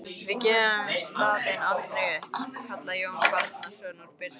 Við gefum staðinn aldrei upp, kallaði Jón Bjarnason úr byrginu.